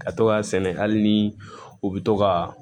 Ka to k'a sɛnɛ hali ni u bɛ to ka